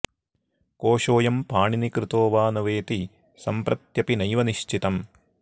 कोशोऽयं पाणिनिकृतो वा न वेति सम्प्रत्यपि नैव निश्चितम्